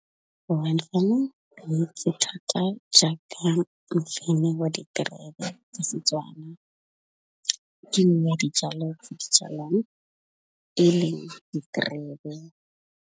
Wine farming thata jaaka tsa Setswana. Ke nngwe ya dijalo tse di e leng diterebe.